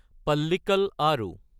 পাল্লিককাল আৰো